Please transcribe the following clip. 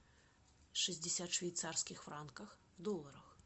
шестьдесят швейцарских франков в долларах